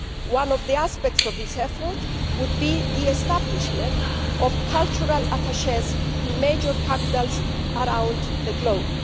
One of the aspects of this effort would be the establishment of cultural attachés in major capitals around the globe.